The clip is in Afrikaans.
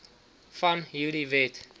van hierdie wet